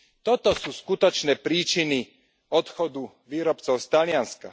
Toto sú skutočné príčiny odchodu výrobcov z Talianska.